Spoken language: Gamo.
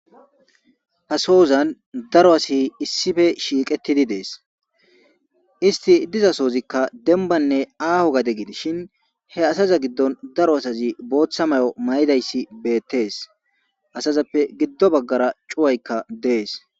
ha soozan daro asa issife shiiqettidi dees isti diza soozikka denbanne aaho gade gidishin he asaza giddon daro asazi booththa mayo mayidayssi beettees asazappe giddo baggara cuwaykka dees